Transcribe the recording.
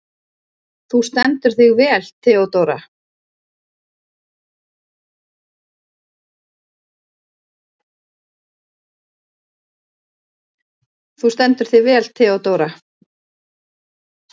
Þú stendur þig vel, Theódóra!